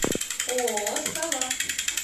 ооо сова